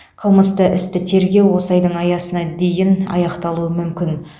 қылмысты істі тергеу осы айдың аясына дейін аяқталуы мүмкін